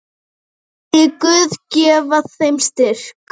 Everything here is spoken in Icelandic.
Megi Guð gefa þeim styrk.